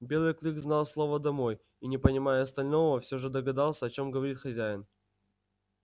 белый клык знал слово домой и не понимая остального всё же догадался о чём говорит хозяин